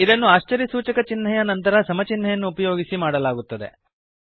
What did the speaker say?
ಇದನ್ನು ಆಶ್ಚರ್ಯ ಸೂಚಕ ಚಿಹ್ನೆಯ ನಂತರ ಸಮ ಚಿಹ್ನೆಯನ್ನು ಉಪಯೋಗಿಸಿ ಮಾಡಲಾಗುತ್ತದೆ